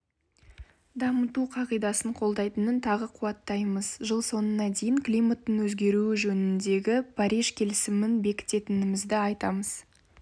дамыту қағидасын қолдайтынын тағы қуаттаймыз жыл соңына дейін климаттың өзгеруі жөніндегі париж келісімін бекітетінімізді айтамыз